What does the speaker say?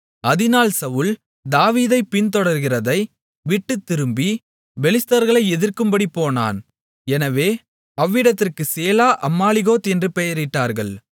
அதனால் சவுல் தாவீதைப் பின்தொடருகிறதை விட்டுத் திரும்பி பெலிஸ்தர்களை எதிர்க்கும்படி போனான் எனவே அவ்விடத்திற்குச் சேலா அம்மாலிகோத் என்று பெயரிட்டார்கள்